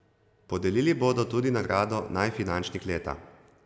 Podelili bodo tudi nagrado Najfinančnik leta.